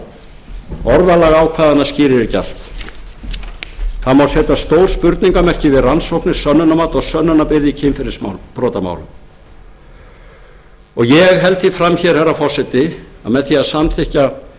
en orðalag ákvæðanna skýrir ekki allt það má setja stór spurningarmerki við rannsóknir sönnunarmat og sönnunarbyrði í kynferðisbrotamálum ég held því fram hér herra forseti að með því að samþykkja